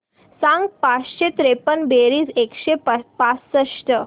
सांग पाचशे त्रेपन्न बेरीज एकशे पासष्ट